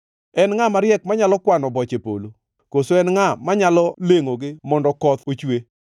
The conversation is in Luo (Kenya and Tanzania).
En ngʼa mariek manyalo kwano boche polo? Koso en ngʼa manyalo lengʼogi mondo koth ochwe,